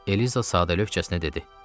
Eliza sadəlövjcəsinə dedi.